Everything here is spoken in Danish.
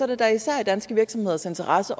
det da især i danske virksomheders interesse